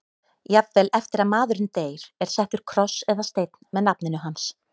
Jafnvel eftir að maðurinn deyr er settur kross eða steinn með nafninu hans.